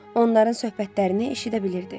Onların söhbətlərini eşidə bilirdi.